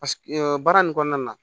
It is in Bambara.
Paseke baara nin kɔnɔna na